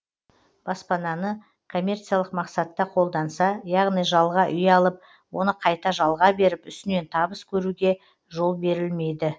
баспананы коммерциялық мақсатта қолданса яғни жалға үй алып оны қайта жалға беріп үстінен табыс көруге жол берілмейді